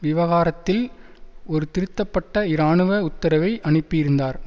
விவகாரத்தில் ஒரு திருத்தப்பட்ட இராணுவ உத்தரவை அனுப்பியிருந்தார்